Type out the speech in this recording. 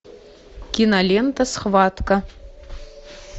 кинолента схватка